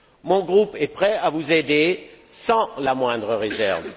Mon groupe est prêt à vous aider sans la moindre réserve.